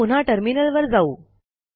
आता पुन्हा टर्मिनलवर जाऊ